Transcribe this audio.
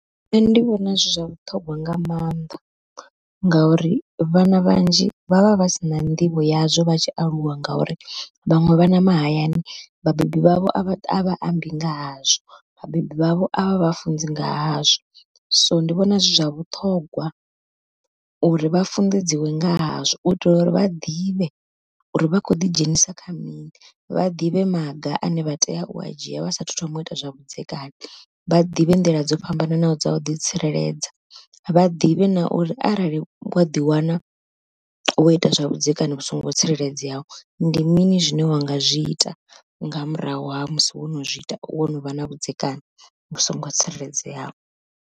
Nṋe ndi vhona zwi zwa vhuṱhongwa nga mannḓa, ngauri vhana vhanzhi vha vha vha si na nḓivho yazwo vha tshi aluwa ngauri vhaṅwe vhana mahayani vhabebi vhavho a vha ambi nga hazwo. Vhabebi vhavho avha vhafunzi nga hazwo, so ndi vhona zwi zwa vhuṱhongwa uri vha funḓedziwe nga hazwo u itela uri vha ḓivhe uri vha khou ḓidzhenisa kha mini, vha ḓivhe maga ane vha tea u a dzhia vha sa thu thoma u ita zwa vhudzekani, vha ḓivhe nḓila dzo fhambananaho dza u ḓi tsireledza. Vha ḓivhe na uri arali wa ḓi wana wo ita zwavhudzekani vhu songo tsireledzeaho, ndi mini zwine wa nga zwi ita nga murahu ha musi wo no zwi ita, wo no vha na vhudzekani vhu songo tsireledzeaho.